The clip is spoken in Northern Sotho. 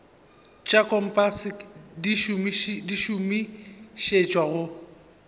tša kompase di šomišetšwa go